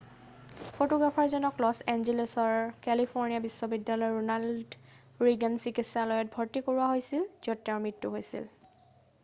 ফটোগ্ৰাফাৰজনক Los এঞ্জেলিছৰ California বিশ্ববিদ্যালয়ৰ Ronald Reagan চিকিৎসালয়ত ভৰ্তি কৰোৱা হৈছিল য'ত তেওঁৰ মৃত্যু হৈছিল